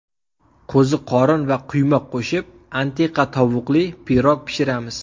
Qo‘ziqorin va quymoq qo‘shib antiqa tovuqli pirog pishiramiz.